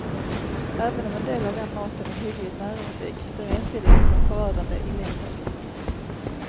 Även om en del av den maten är hyggligt näringsrik blir ensidigheten förödande i längden.